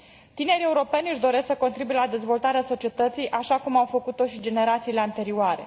Tinerii europeni își doresc să contribuie la dezvoltarea societății, așa cum au făcut o și generațiile anterioare.